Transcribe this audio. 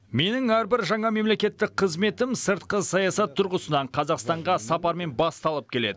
менің әрбір жаңа мемлекеттік қызметім сыртқы саясат тұрғысынан қазақстанға сапармен басталып келеді